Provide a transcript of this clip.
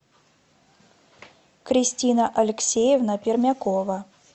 кристина алексеевна пермякова